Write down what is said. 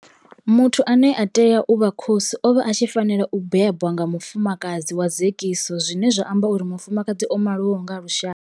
Muthu ane a tea u vha khosi o vha a tshi fanela u bebwa nga mufumakadzi wa dzekiso zwine zwa amba uri mufumakadzi o maliwaho nga lushaka.